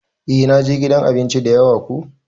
Eh na je gidan abinci dayawa ko.